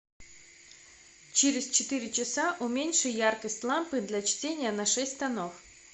через четыре часа уменьши яркость лампы для чтения на шесть тонов